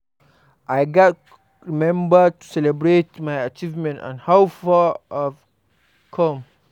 I gats remember to celebrate my achievements and how far I don come.